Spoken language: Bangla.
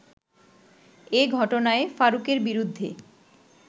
এ ঘটনায় ফারুকের বিরুদ্ধে